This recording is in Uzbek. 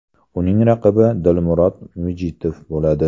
Uning raqibi Dilmurod Mijitov bo‘ladi.